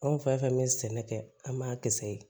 Anw fɛn fɛn bɛ sɛnɛ kɛ an m'a kisɛ ye